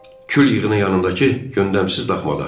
Kül yığının yanındakı göndəmsiz daxmada.